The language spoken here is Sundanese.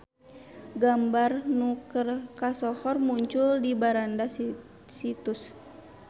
Gambar nu keur kasohor muncul di beranda situs.